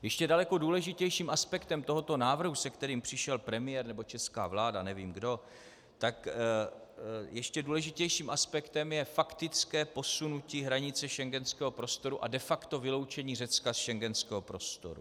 Ještě daleko důležitějším aspektem tohoto návrhu, se kterým přišel premiér, nebo česká vláda, nevím kdo, tak ještě důležitějším aspektem je faktické posunutí hranice schengenského prostoru a de facto vyloučení Řecka z schengenského prostoru.